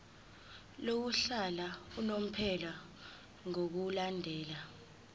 lokuhlala unomphela ngokulandela